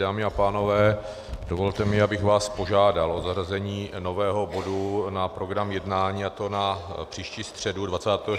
Dámy a pánové, dovolte mi, abych vás požádal o zařazení nového bodu na program jednání, a to na příští středu 24. jako první bod.